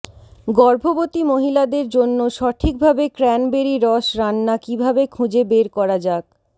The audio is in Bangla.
গর্ভবতী মহিলাদের জন্য সঠিকভাবে ক্র্যানবেরি রস রান্না কিভাবে খুঁজে বের করা যাক